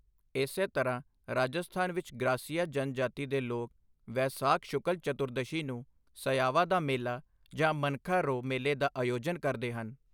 ਇਸੇ ਤਰ੍ਹਾਂ ਰਾਜਸਥਾਨ ਵਿੱਚ ਗ੍ਰਾਸੀਆ ਜਨਜਾਤੀ ਦੇ ਲੋਕ ਵੈਸਾਖ ਸ਼ੁਕਲ ਚਤੁਰਦਸ਼ੀ ਨੂੰ ਸਯਾਵਾ ਦਾ ਮੇਲਾ ਜਾਂ ਮਨਖਾ ਰੋ ਮੇਲੇ ਦਾ ਆਯੋਜਨ ਕਰਦੇ ਹਨ।